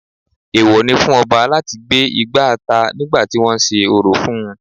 Èwọ ni fún Ọba láti gbé igbá ata nígbà tí wọ́n sé orò fún-un